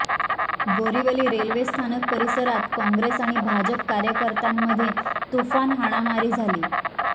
बोरिवली रेल्वेस्थानक परिसरात काँग्रेस आणि भाजप कार्यकर्त्यांमध्ये तुफान हाणामारी झाली